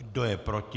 Kdo je proti?